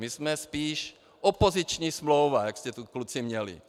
My jsme spíš opoziční smlouva, jak jste tu, kluci, měli.